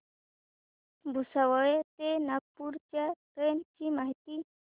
भुसावळ ते नागपूर च्या ट्रेन ची माहिती